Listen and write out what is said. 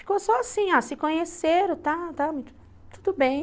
Ficou só assim, ó, se conheceram, está, está, tudo bem.